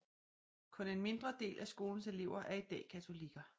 Kun en mindre del af skolens elever er i dag katolikker